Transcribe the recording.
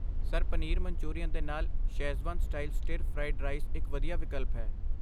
sir, paneer manchurian ਦੇ ਨਾਲ schezwan style stir fried rice ਇੱਕ ਵਧੀਆ ਵਿਕਲਪ ਹੈ